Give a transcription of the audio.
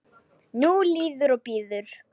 Nú líður og bíður.